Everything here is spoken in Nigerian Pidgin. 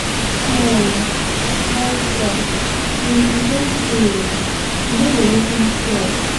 Guy howfar, e don tey oo, you no dey even even call.